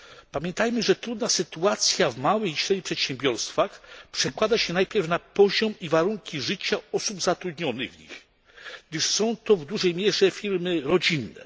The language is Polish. Pamiętajmy, że trudna sytuacja w małych i średnich przedsiębiorstwach przekłada się najpierw na poziom i warunki życia osób zatrudnionych w nich, gdyż są to w dużej mierze firmy rodzinne.